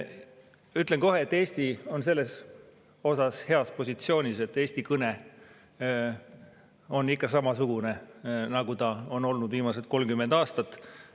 Ütlen kohe, et Eesti on selles mõttes heas positsioonis: Eesti kõne on ikka samasugune, nagu ta on olnud viimased 30 aastat.